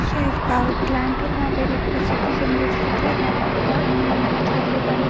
यहाँ एक power plant है जहाँ पे इलेक्ट्रिसिटी जनरेट होता है जहाँ पे पावर इंजन रहता है ।